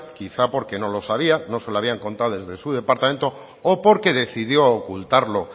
quizá porque no lo sabía no se lo habían contado desde su departamento o porque decidió ocultarlo